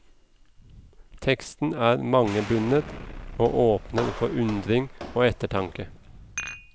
Teksten er mangebunnet og åpner for undring og ettertanke.